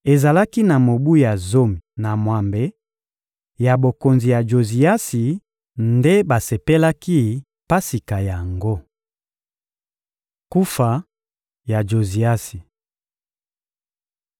Ezalaki na mobu ya zomi na mwambe ya bokonzi ya Joziasi nde basepelaki Pasika yango. Kufa ya Joziasi (2Ba 23.28-30)